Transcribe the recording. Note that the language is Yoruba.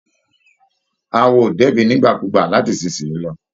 Awo á débí nígbàkúùgbà láti ìsinsìnyí lọ